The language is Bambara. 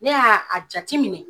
Ne y'a a jate minɛ